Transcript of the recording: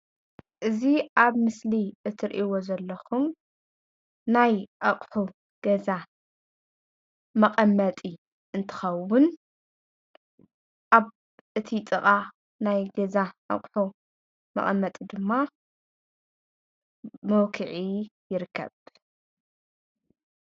እዚ ኣብ ምስሊ እትሪእዎ ዘለኹም ናይ ኣቑሑ ገዛ መቐመጢ እንትኸውን ኣብ እቲ ጥቓ ናይ ገዛ እቑሑ መቐመጢ ድማ መውኩዒ ይርከብ::